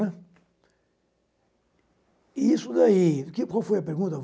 E isso daí... Que qual foi a pergunta?